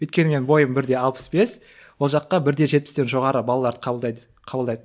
өйткені менің бойым бір де алпыс бес ол жаққа бір де жетпістен жоғары балаларды қабылдайды қабылдайды